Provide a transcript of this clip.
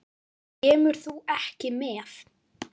Kemur þú ekki með?